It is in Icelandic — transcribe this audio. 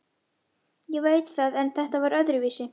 Ég veit það en þetta var öðruvísi.